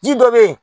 Ji dɔ be yen